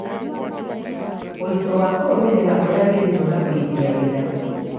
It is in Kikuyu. ũritũ wa kũrũmĩrĩra ũrĩa wĩritwo na kũrĩkia wĩra